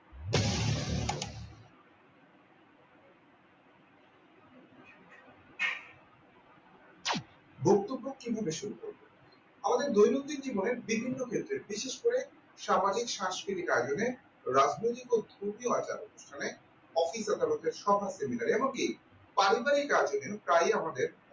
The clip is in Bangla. বক্তব্য কিভাবে শুরু করবেন আমাদের দৈনন্দিন জীবনে বিভিন্ন ক্ষেত্রে বিশেষ করে স্বাভাবিক সাংস্কৃতিক আয়োজনে রাজনীতি ও স্তুতিআচার উকিল আদালতের সভা seminar এ এমনকি পারিবারিক আয়োজনে প্রাই আমাদের